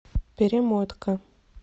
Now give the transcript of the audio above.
перемотка